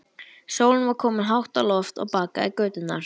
Sólin var komin hátt á loft og bakaði göturnar.